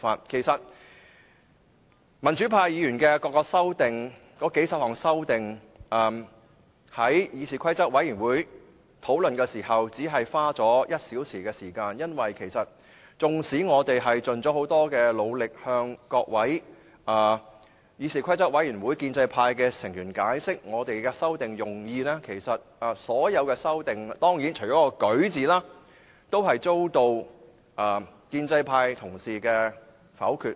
其實，民主派議員的數十項修正案，在議事規則委員會會議中只花了1小時討論，縱使我們盡了很大努力，向議事規則委員會各位建制派的成員解釋我們的修訂用意，但所有修正案——當然，除了有關"擧"字的那項修正案外——也遭到建制派同事的否決。